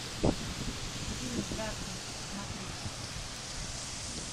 фильм даркнет смотреть